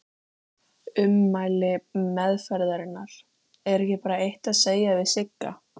Ummæli umferðarinnar: Er ekki bara eitt að segja við Sigga?